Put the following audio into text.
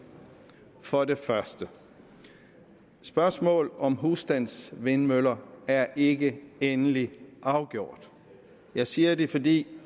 for det første er spørgsmålet om husstandsvindmøller ikke endeligt afgjort jeg siger det fordi